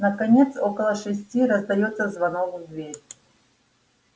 наконец около шести раздаётся звонок в дверь